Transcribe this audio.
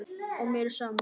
Og mér er sama.